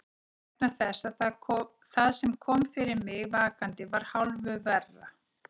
Vegna þess að það sem kom fyrir mig vakandi var hálfu verra.